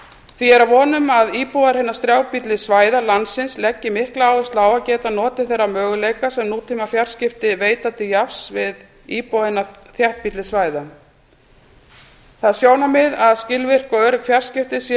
því er að vonum að íbúar hinna strjálbýlli svæða landsins leggi mikla áherslu á að geta notið þeirra möguleika sem nútímafjarskipti veita til jafns við íbúa hinna þéttbýlli svæða það sjónarmið að skilvirk og örugg fjarskipti séu